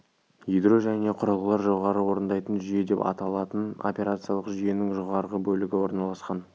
ядро және құрылғылар жоғары орындайтын жүйе деп аталатын операциялық жүйенің жоғарғы бөлігі орналасқан